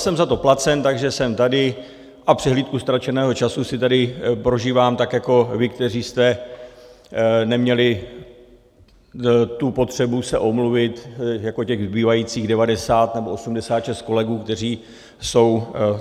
Jsem za to placen, takže jsem tady, a přehlídku ztraceného času si tady prožívám, tak jako vy, kteří jste neměli tu potřebu se omluvit, jako těch zbývajících 90 nebo 86 kolegů, kteří jsou...